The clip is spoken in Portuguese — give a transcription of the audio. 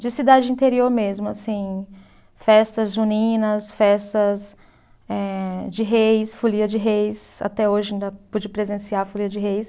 De cidade interior mesmo, assim, festas juninas, festas eh de reis, folia de reis, até hoje ainda pude presenciar a folia de reis.